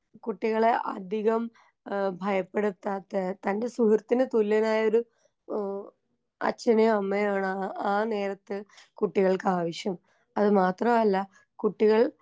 കുട്ടികളെ അധികം ഏ ഭയപ്പെടുത്താത്ത തന്റെ സുഹൃത്തിന് തുല്യനായൊരു ആ അച്ഛനേയും അമ്മയേയും ആണ് ആ ആ ആ നേരത്ത് കുട്ടികൾക്കാവശ്യം അത് മാത്രമല്ല കുട്ടികൾ.